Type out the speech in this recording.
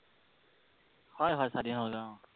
হয়, হয় স্বাধীন হলগৈ অ।